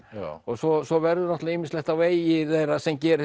svo svo verður náttúrulega ýmislegt á vegi þeirra sem gerir